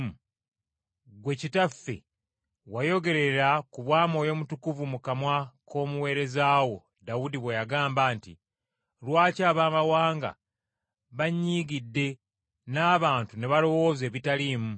ggwe Kitaffe wayogerera ku bwa Mwoyo Mutukuvu mu kamwa k’omuweereza wo, Dawudi bwe yagamba nti: “ ‘Lwaki Abaamawanga banyiigidde, n’abantu ne balowooza ebitaliimu?